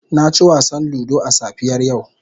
Na ci wasan ludo a safiyar yau.